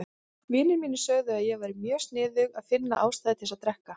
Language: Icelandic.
Vinir mínir sögðu að ég væri mjög sniðug að finna ástæðu til að drekka.